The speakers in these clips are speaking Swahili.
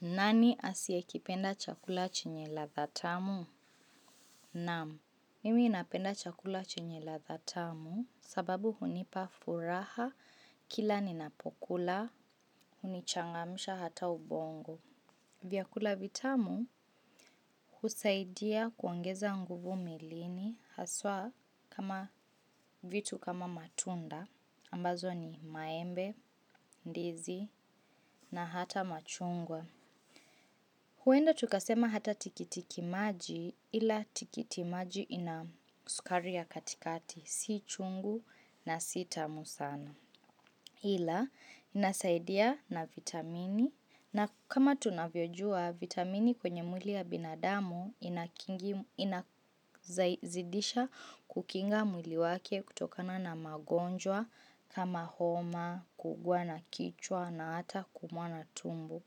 Nani asiye kipenda chakula chenye ladha tamu? Naam, mimi napenda chakula chenye ladha tamu sababu hunipa furaha kila ninapokula, hunichangamusha hata ubongo. Vyakula vitamu husaidia kuongeza nguvu mwilini haswa kama vitu kama matunda ambazo ni maembe, ndizi na hata machungwa. Huenda tukasema hata tikitiki maji ila tikiti maji ina sukari ya katikati si chungu na sita tamu sana ila inasaidia na vitamini na kama tunavyojua vitamini kwenye mwili ya binadamu ina zidisha kukinga mwili wake kutokana na magonjwa kama homa, kuumwa na kichwa na hata kuumwa na tumbo.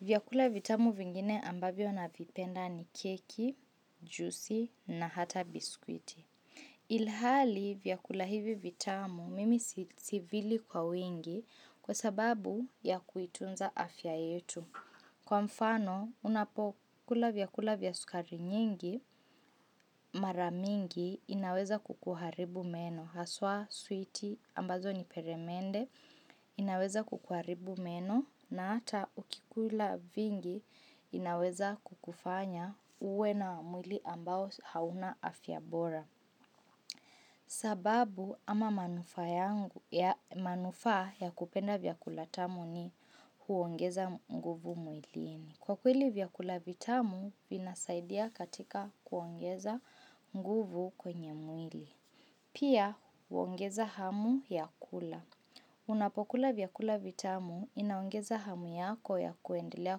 Vyakula vitamu vingine ambavyo navipenda ni keki, juisi na hata biskuiti. Ilhali vyakula hivi vitamu mimi sivili kwa wingi kwa sababu ya kuitunza afya yetu. Kwa mfano, unapokula vyakula vya sukari nyingi mara mingi inaweza kukuharibu meno. Haswa, sweeti, ambazo ni peremende, inaweza kukuharibu meno na ata ukikula vingi inaweza kukufanya uwe na mwili ambao hauna afyabora. Sababu ama manufaa ya kupenda vyakula tamu ni huongeza nguvu mwilini. Kwa kweli vyakula vitamu, vinasaidia katika kuongeza nguvu kwenye mwili. Pia huongeza hamu ya kula. Unapokula vyakula vitamu inaongeza hamu yako ya kuendelea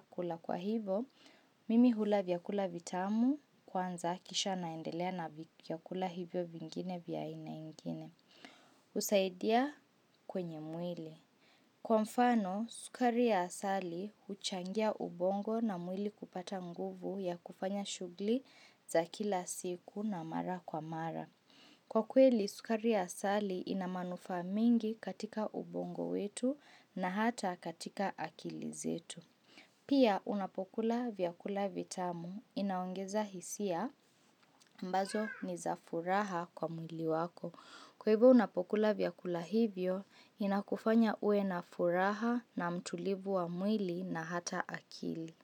kula kwa hivo. Mimi hula vyakula vitamu kwanza kisha naendelea na vyakula hivyo vingine vya aina ingine. Husaidia kwenye mwili. Kwa mfano, sukari ya asali huchangia ubongo na mwili kupata nguvu ya kufanya shughuli za kila siku na mara kwa mara. Kwa kweli, sukari ya asali inamanufa mingi katika ubongo wetu na hata katika akili zetu. Pia, unapokula vyakula vitamu inaongeza hisia ambazo ni za furaha kwa mwili wako. Kwa hivyo unapokula vyakula hivyo, inakufanya uwe na furaha na mtulivu wa mwili na hata akili.